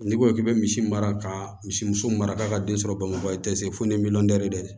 N'i ko k'i bɛ misi mara ka misimuso mara k'a ka den sɔrɔ bamakɔ i tɛ se fo ni miliyɔn de tɛ